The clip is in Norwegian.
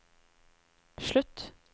slutt